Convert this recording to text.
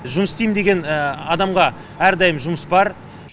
жұмыс істеймін деген адамға әрдайым жұмыс бар